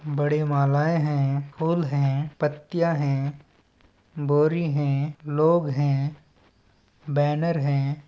बड़े मालाएँ है फूल है पतियाँ है बोरी हैं लोग हैं बैनर है।